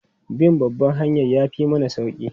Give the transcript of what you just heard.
Bin babban hanyar ya fi mana sauri.